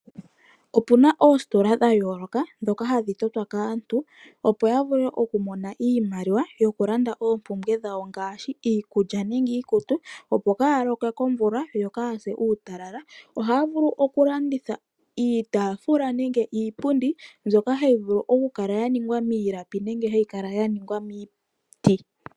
Opuna oositola dha yooloka dhoka hadhi totwa kaantu opo ya mone iimaliwa yoku landa oompumbwe dhawo ngaashi iikulya nenge iikutu opo kaya lokwe komvula nenge kaa yase uutalala. Oha vulu oku landitha iitafula nenge iipundi mbyoka hayi vulu oku kala ya ningwa miilapi nenge yaningwa miiti.